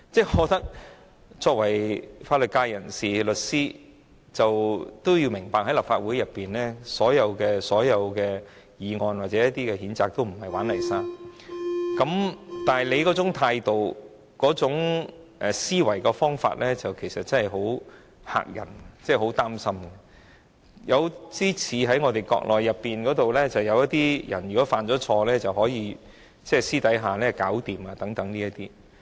我覺得作為法律界人士、律師的他要明白，立法會所有議案或譴責議案也不是"玩泥沙"，但他那種態度、思維的方法真的很嚇人，令人擔心，有點兒與國內一些犯錯的人希望私下處理的手法相似。